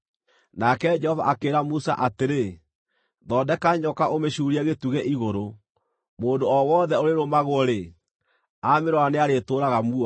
Nake Jehova akĩĩra Musa atĩrĩ, “Thondeka nyoka ũmĩcuurie gĩtugĩ igũrũ; mũndũ o wothe ũrĩĩrũmagwo-rĩ, aamĩrora nĩarĩtũũraga muoyo.”